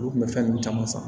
Olu kun bɛ fɛn ninnu caman san